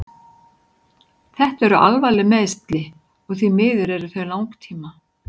Þetta eru alvarleg meiðsli og því miður eru þau langtíma.